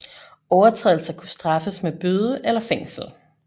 Overtrædelser kunne straffes med bøde eller fængsel